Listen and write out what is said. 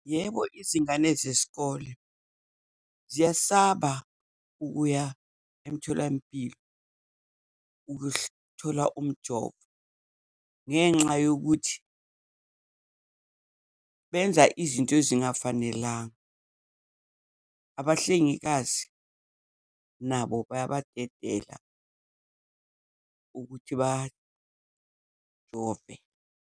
Yebo, izingane zesikole ziyasaba ukuya emtholampilo thola umjovo, ngenxa yokuthi benza izinto ezingafanelanga. Abahlengikazi nabo bayabadedela ukuthi bajove.